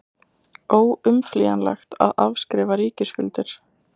Óumflýjanlegt að afskrifa ríkisskuldir